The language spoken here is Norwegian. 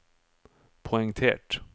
poengtert